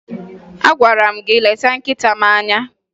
Agwara m gị leta nkịta m anya!